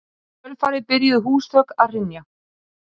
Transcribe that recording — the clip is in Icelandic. Adela, spilaðu lag.